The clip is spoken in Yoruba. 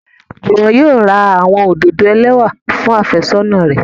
Juwon yóò ra awọn ododo elẹwa fun afesona rẹ